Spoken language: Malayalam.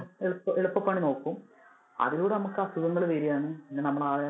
എളുപ്പ~ എളുപ്പ പണി നോക്കും, അതിലൂടെ നമുക്ക് അസുഖങ്ങൾ വരുവാണ്. പിന്നെ നമ്മലാകെ